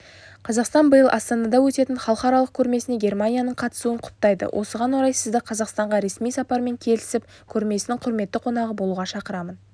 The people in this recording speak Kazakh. қазақстан биыл астанада өтетін халықаралық көрмесіне германияның қатысуын құптайды осыған орай сізді қазақстанға ресми сапармен келіп көрмесінің құрметті қонағы болуға шақырамын